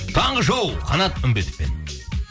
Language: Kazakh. таңғы шоу қанат үмбетовпен